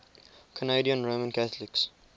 canadian roman catholics